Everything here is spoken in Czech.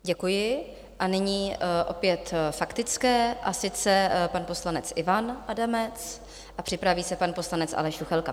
Děkuji a nyní opět faktické, a sice pan poslanec Ivan Adamec a připraví se pan poslanec Aleš Juchelka.